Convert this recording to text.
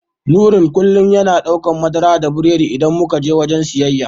Nurain kullum yana daukan madara da biredi idan muka je wajen siyayya.